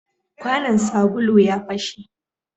Kwanan sabulu ya fashe